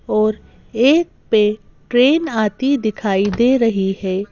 और एक पे ट्रेन आती दिखाई दे रही है।